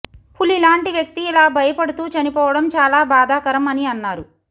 పులి లాంటి వ్యక్తి ఇలా భయపడుతూ చనిపోవడం చాల భాదాకరం అని అన్నారు